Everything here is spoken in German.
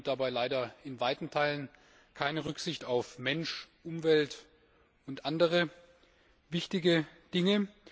China nimmt dabei leider in weiten Teilen keine Rücksicht auf Mensch, Umwelt und andere wichtige Dinge.